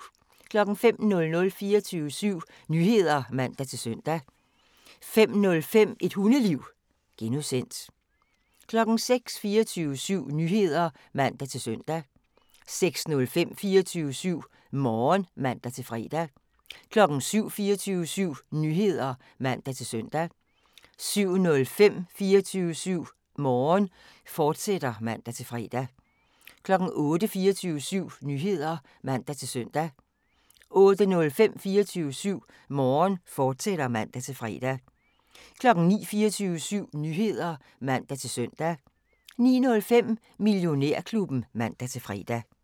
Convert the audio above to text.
05:00: 24syv Nyheder (man-søn) 05:05: Et Hundeliv (G) 06:00: 24syv Nyheder (man-søn) 06:05: 24syv Morgen (man-fre) 07:00: 24syv Nyheder (man-søn) 07:05: 24syv Morgen, fortsat (man-fre) 08:00: 24syv Nyheder (man-søn) 08:05: 24syv Morgen, fortsat (man-fre) 09:00: 24syv Nyheder (man-søn) 09:05: Millionærklubben (man-fre)